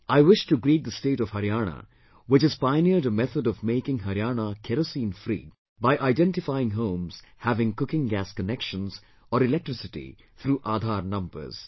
I wish to greet the state of Haryana, which has pioneered a method of making Haryana Kerosene free by identifying homes having cooking gas connections or electricity through 'Aadhar' numbers